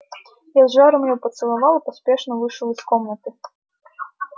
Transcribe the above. я с жаром её поцеловал и поспешно вышел из комнаты